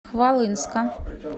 хвалынска